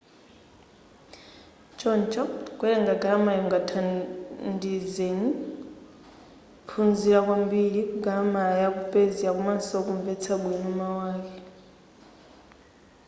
choncho kuwelenga galamala iyi kungakuthandizeni kuphunzila kwambiri galamala yaku persia komanso kunvetsa bwino mau ake